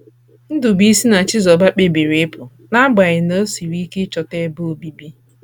Ndubuisi na Chibuzor kpebiri ịpụ, n’agbanyeghị na o siri ike ịchọta ebe obibi.